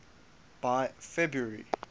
by february